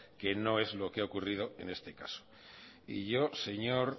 que no es lo que ha ocurrido en este caso y yo señor